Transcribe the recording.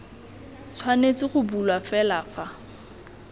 tshwanetse go bulwa fela fa